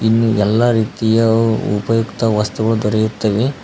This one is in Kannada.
ಇಲ್ಲಿ ಎಲ್ಲಾ ರೀತಿಯ ಉಪಯುಕ್ತ ವಸ್ತುಗಳು ದೊರೆಯುತ್ತವೆ.